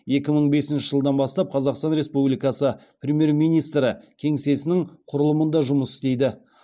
екі мың бесінші жылдан бастап қазақстан республикасы премьер министрі кеңсесінің құрылымында жұмыс істейді